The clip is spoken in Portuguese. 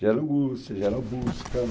Gera angústia, gera busca.